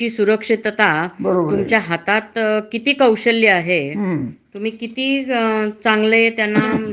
एखाद तुमच जे कामाचा जो रेपोर्ट असतो, तो खूप चांगला आला तरच ते तुम्हाला ठेवतात किवा पगार वाढ करतात.